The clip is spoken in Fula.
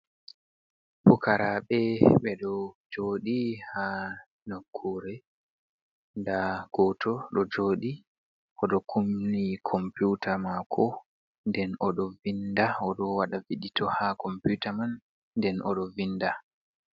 Fukarabe be do jodi ha nakure. Nda goto do jodi odo kumni komputa mako, den odo vinda, odo wada vidito ha computa man, den odo vinda.